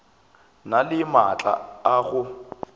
na le maatla a go